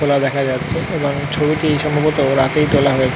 খোলা দেখা যাচ্ছে এবং ছবি টি সম্ভবত রাতেই তোলা হয়েছে।